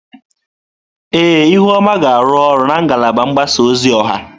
Ee, ihuoma ga-arụ ọrụ na ngalaba mgbasa ozi ọha.